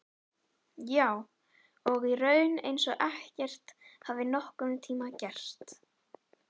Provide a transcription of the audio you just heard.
Já, og í raun eins og ekkert hafi nokkurntíma gerst.